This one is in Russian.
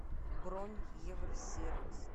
бронь евросервис